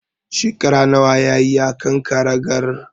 Shekara nawa yayi a kan karagar?